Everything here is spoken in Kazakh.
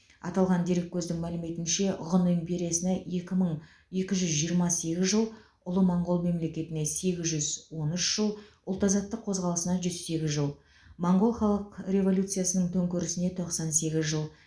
аталған дереккөздің мәліметінше ғұн империясына екі мың екі жүз жиырма сегіз жыл ұлы моңғол мемлекетіне сегіз жүз он үш жыл ұлт азаттық қозғалысына жүз сегіз жыл моңғол халық революциясының төңкерісіне тоқсан сегіз жыл